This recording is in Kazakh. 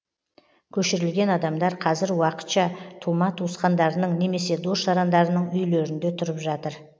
көшірілген адамдар қазір уақытша тума туысқандарының немесе дос жарандарының үйлерінде тұрып жатыр